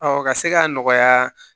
ka se k'a nɔgɔya